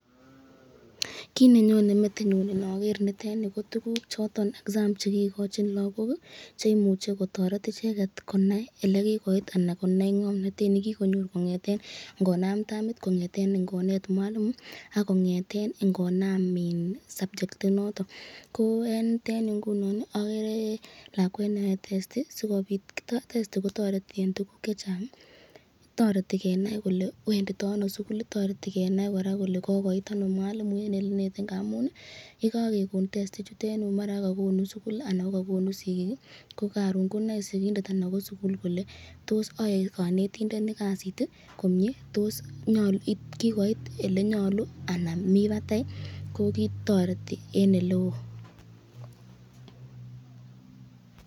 Kiit nenyone metinyun inokeer nitet nii ko tukuk choton exam chekikochin lokok cheimuche kotoret icheket konai elekikoit anan konai ng'omnotet nekikonyor kong'eten ing'onam tamit kong'eten ing'onet mwalimu ak kong'eten ing'onam subject inoton, ko en yutet yuu okeree lakwet neyoe testi, testi kotoreti tukuk chechang, toreti kenai kelee wenditono sukul, toreti kora kenai kelee kokoit anoo mwalimu en elenete ng'amun yekokekon testi ichutet maran ko kokonu sukul anan ko kokonu sikiik konoe sikindet anan ko sukul kolee toos yoe konetindoni kasit komie, toos nyolu kikoit elenyolu anan mii batai ko kitoreti en eleoo.